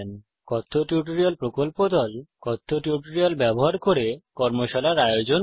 কথ্য টিউটোরিয়াল প্রকল্প দল কথ্য টিউটোরিয়াল ব্যবহার করে কর্মশালার আয়োজন করে